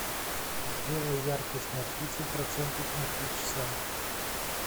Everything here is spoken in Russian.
сделай яркость на тридцать процентов на три часа